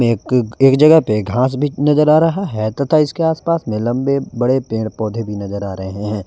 एक एक जगह पे घास भी नजर आ रहा है तथा इसके आसपास में लंबे बड़े पेड़ पौधे भी नजर आ रहे हैं।